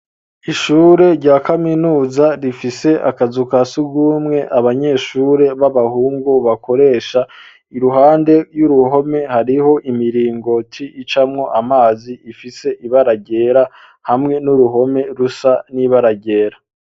Ishure rya kaminuza rifise akazu kasugumwe abanyeshure b'abahungu bakoresha iruhande y'uruhome hariho imiringoti icamwo amazi ifise ibara ryera hamwe n'uruhome rusa nibara ryera.